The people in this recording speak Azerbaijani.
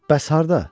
Bəs harda?